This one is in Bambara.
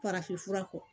Farafinfura kɔ